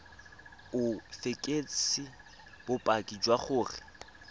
o fekese bopaki jwa gore